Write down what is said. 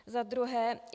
Za druhé.